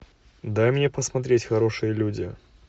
дай мне посмотреть хорошие люди